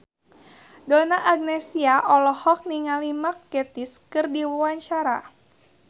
Donna Agnesia olohok ningali Mark Gatiss keur diwawancara